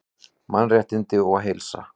Mannréttindi og heilsa